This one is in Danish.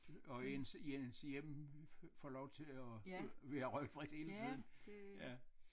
Og ens ens hjem får lov til at være røgfrit hele tiden ja